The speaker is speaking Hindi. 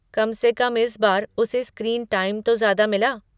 कम से कम इस बार उसे स्क्रीन टाइम तो ज्यादा मिला।